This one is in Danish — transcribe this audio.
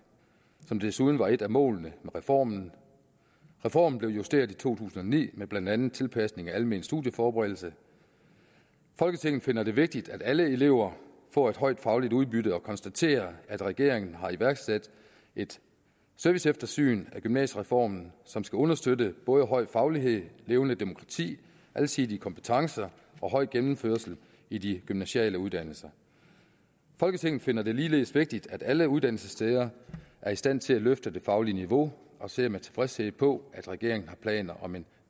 som desuden var et af målene med reformen reformen blev justeret i to tusind og ni med blandt andet tilpasning af almen studieforberedelse folketinget finder det vigtigt at alle elever får et højt fagligt udbytte og konstaterer at regeringen har iværksat et serviceeftersyn af gymnasiereformen som skal understøtte både høj faglighed levende demokrati alsidige kompetencer og høj gennemførsel i de gymnasiale uddannelser folketinget finder det ligeledes vigtigt at alle uddannelsessteder er i stand til at løfte det faglige niveau og ser med tilfredshed på at regeringen har planer om en